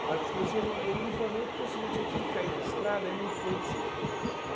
Agora, psicologia, eu não eu não me formei porque eu tive que cair na estrada e não foi possível, né.